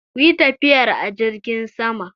Ku yi tafiyar a jirgin sama!